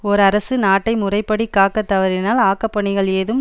ஓர் அரசு நாட்டை முறைப்படி காக்க தவறினால் ஆக்கப்பணிகள் எதுவும்